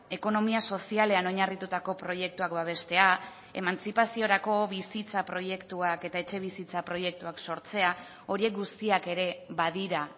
ekonomia sozialean oinarritutako proiektuak babestea emantzipaziorako bizitza proiektuak eta etxebizitza proiektuak sortzea horiek guztiak ere badira